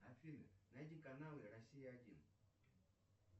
афина найди каналы россия один